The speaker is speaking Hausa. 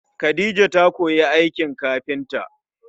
Khadija ta koyi aikin kafinta